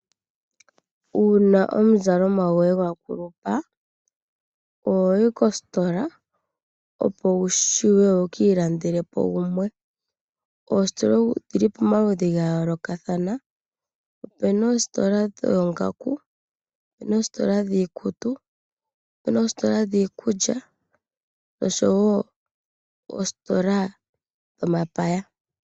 Uuna omuzalomwa goye gwakulupa. Ohoyi kositola opo wushiwe wukiilandele po gumwe. Oositola odhili pomaludhi ga yoolokathana opena oositola dhoongaku, opena oositola dhiikutu, opena oositola dhiikulya noshowo oositola dhomapaya.